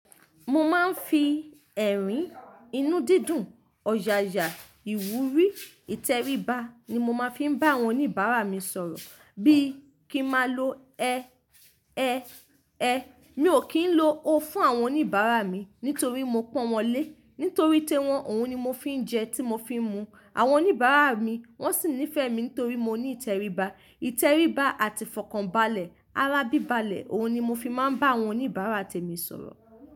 Mo máa ń fi ẹ̀rín, inú dídùn, ọ̀yàyà, ìwúrí, ìtẹríba ni mo máa ń fi bá àwọn oníbàárà mi sọ̀rọ̀ bíi kí máa lo ẹ, ẹ, ẹ. Mi ò kì í lo o fún àwọn oníbàárà mi nítorí mo pọ́n wọn lé. Nítorí ti wọn, òun ni mo fi ń jẹ tí mo fi ń mu. Àwọn oníbàárà mi wọ́n sì nífẹ̀ẹ́ mi nítorí mo ní ìtẹríba. Ìtẹríba àti fọkànbalẹ̀, arabibalẹ̀, òun ni mo fi máa ń bá àwọn oníbàárà tèmi sọ̀rọ̀.